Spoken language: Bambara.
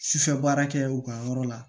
Sufɛ baara kɛ u ka yɔrɔ la